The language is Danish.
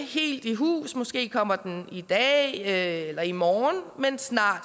helt i hus måske kommer den i dag eller i morgen men snart